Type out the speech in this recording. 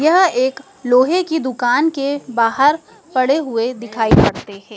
यह एक लोहे की दुकान के बाहर पड़े हुए दिखाई पड़ते है।